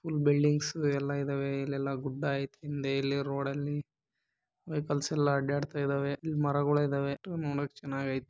Full buildings ಬರ ಗಿಡಗಳು ಎಲ್ಲಾ ಇವೆ ವೆಹಿಕಲ್ಸ್ ಹೋರಾಡ್ತಾ ಇದೆಲ್ಲಾ ನೋಡುವುದಕ್ಕೆ ಚೆನ್ನಾಗಿದೆ.